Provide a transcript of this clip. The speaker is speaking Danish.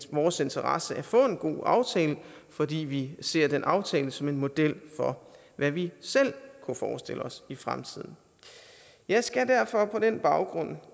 vores interesse at få en god aftale fordi vi ser den aftale som en model for hvad vi selv kunne forestille os i fremtiden jeg skal derfor på den baggrund